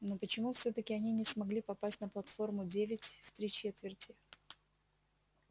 но почему всё-таки они не смогли попасть на платформу девять в три четверти